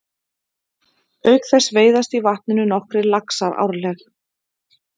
Auk þess veiðast í vatninu nokkrir laxar árleg.